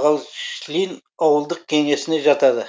балышлин ауылдық кеңесіне жатады